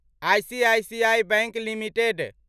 ICICI bank limited